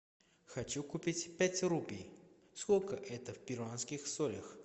хочу купить пять рупий сколько это в перуанских солях